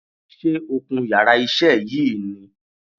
Sé o kun yàrá isé yìí ni